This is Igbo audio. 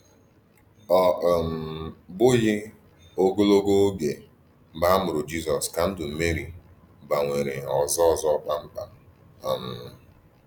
Ọ um bụghị ogologo oge mgbe a mụrụ Jisọs ka ndụ Meri gbanwere ọzọ ọzọ kpamkpam. um